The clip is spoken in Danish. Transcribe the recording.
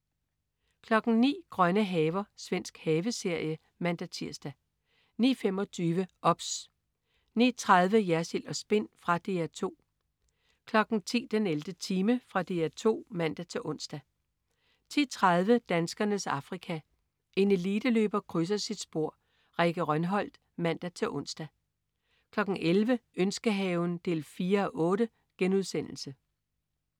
09.00 Grønne haver. Svensk haveserie (man-tirs) 09.25 OBS 09.30 Jersild & Spin. Fra DR 2 10.00 den 11. time. Fra DR 2 (man-ons) 10.30 Danskernes Afrika. En eliteløber krydser sit spor. Rikke Rønholt (man-ons) 11.00 Ønskehaven 4:8*